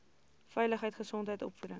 veiligheid gesondheid opvoeding